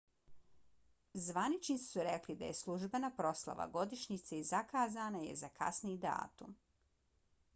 zvaničnici su rekli da je službena proslava godišnjice zakazana je za kasniji datum